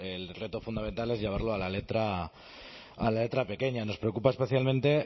el reto fundamental es llevarlo a la letra pequeña nos preocupa especialmente